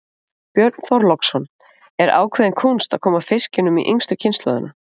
Björn Þorláksson: Er ákveðin kúnst að koma fiskinum í yngstu kynslóðina?